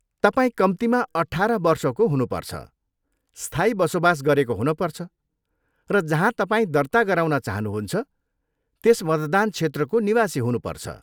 तपाईँ कम्तीमा अठाह्र वर्षको हुनुपर्छ, स्थायी बसोबास गरेको हुनुपर्छ, र जहाँ तपाईँ दर्ता गराउन चाहनुहुन्छ त्यस मतदान क्षेत्रको निवासी हुनुपर्छ।